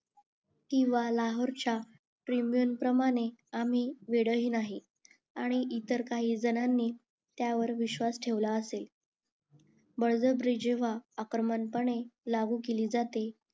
किंवा लाहोरच्या प्रमाणे आम्ही वेडेही नाही आणि इतर काहीजणांनी त्यावर विश्वास ठेवला असेल बळजबरी जेव्हा आक्रमण प्रमाणे लागू केली जाते